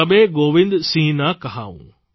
તબે ગોવિંદ સિંહ ના કહાઉં